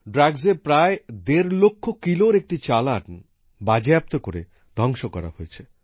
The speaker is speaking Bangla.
মাদকের প্রায় দেড় লক্ষ কিলোর একটি চালান বাজেয়াপ্ত করে ধ্বংস করা হয়েছে